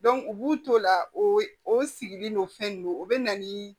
u b'u to o la o o sigili n'o fɛn nunnu o bɛ na ni